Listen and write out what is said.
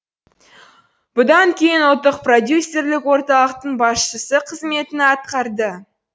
бұдан кейін үлттық продюсерлік орталықтың басшысы қызметін атқарды